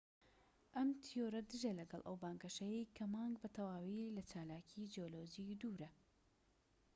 ئەم تیۆرە دژە لەگەڵ ئەو بانگەشەیەی کە مانگ بە تەواوی لە چالاکی جیۆلۆجی دوورە